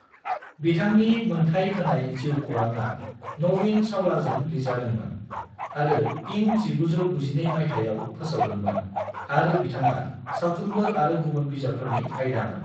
बिथांनि मोन्थाय होनाय जिउ खौरांआ नवीन चावलाजों लिरजादोंमोन आरो इं 1992 माइथायाव फोसावदोंमोन आरो बिथाङा सावथुनफोर आरो गुबुन बिजाबफोरनि आयदामोन।